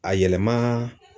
A yɛlɛmaa.